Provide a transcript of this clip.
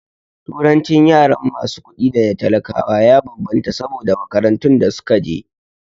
Turancin yaran masu kuɗi da na talakawa ya bambanta saboda makarantun da suka je